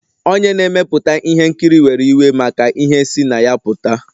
Onye na-emepụta ihe nkiri were iwe maka ihe si na ya pụta